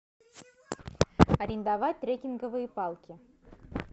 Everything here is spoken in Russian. арендовать трекинговые палки